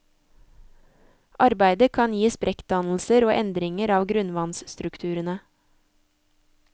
Arbeidet kan gi sprekkdannelser og endringer av grunnvannsstrukturene.